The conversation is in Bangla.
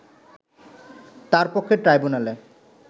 তার পক্ষে ট্রাইব্যুনালে